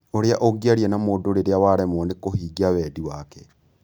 Ũrĩa ũngĩaria na mũndũ rĩrĩa waremwo nĩ kũhingia wendi wake.